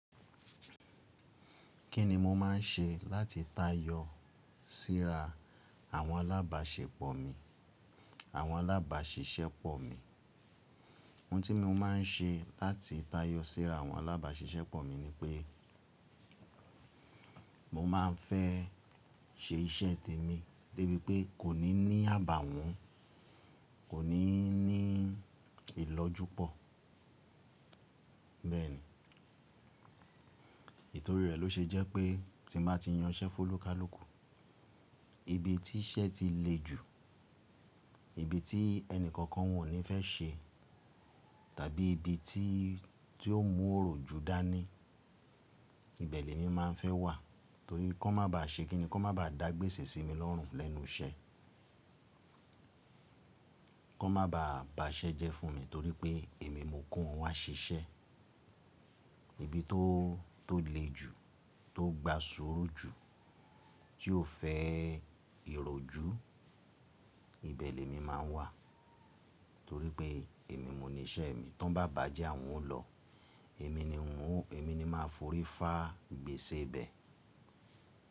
Kí ni mo máa ń ṣe láti táayọ síra àwọn alábàáṣepọ̀ mi, àwọn alábàaṣiṣẹ́ pọ̀ mi? Ohun tí mo máa ń ṣe láti táayọ síra àwọn alábàaṣiṣẹ́ pọ̀ mi ni pé mo máa ń fẹ́ ṣe iṣẹ́ tèmi débi pé kò ní ní àbàwọ́n, kò ní ní ìlọ́jú pọ̀. Bẹ́ẹ̀ ni. Ìtorí rẹ̀ ló ṣe jẹ́ pé tí mo bá ti yan iṣẹ́ fólúkalùkù, ibi tí iṣẹ́ ti le jù, ibi tí ẹnì kankan wọ́n ò ní fẹ́ ṣe tàbí ibi tí, tí ó mú òròjú dá ní, ibẹ̀ lẹ mi máa ń fẹ́ wà torí kọ́ má ba ṣe kíni, kí wọ́n má ba dàgbésẹ̀ sí mi lọ́rùn lẹ́nu iṣẹ́. Kọ́ má ba ba iṣẹ́ jẹ́ fún mi torí pé èmi mo kó wọn wá ṣiṣẹ́. Ibi tó, tó le jù, tó gba sùúrù jù, tí ò fẹ́ ìròjú, ibẹ̀ lẹ mi máa ń wà torí pé èmi mo ní iṣẹ́ mi. Tí wọ́n bá bàjẹ́, àwọn ó lọ, èmi ni ń wùú, èmi ni máa forí fá gbèsè ibẹ̀.